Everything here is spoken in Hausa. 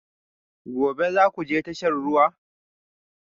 Gobe ​​za ku je tashar ruwa?